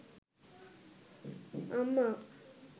আম্মা